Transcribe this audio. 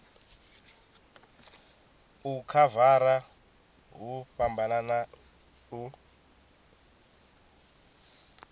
u khavara hu fhambana u